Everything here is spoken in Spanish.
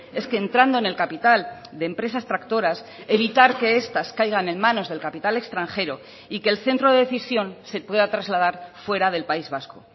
es que entrando en el capital de empresas tractoras evitar que estas caigan en manos del capital extranjero y que el centro de decisión se pueda trasladar fuera del país vasco